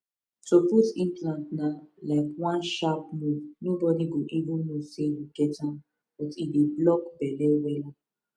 to put implant na um just one sharp move nobody go even know say you get am but e dey block belle wella